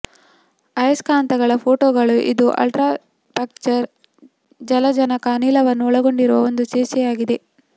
ಅಯಸ್ಕಾಂತಗಳ ಫೋಟೋಗಳು ಇದು ಅಲ್ಟ್ರಾಪ್ಚರ್ ಜಲಜನಕ ಅನಿಲವನ್ನು ಒಳಗೊಂಡಿರುವ ಒಂದು ಸೀಸೆಯಾಗಿದೆ